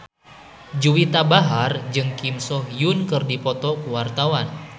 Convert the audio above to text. Juwita Bahar jeung Kim So Hyun keur dipoto ku wartawan